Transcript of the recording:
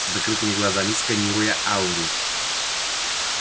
с закрытыми глазами сканируя ауру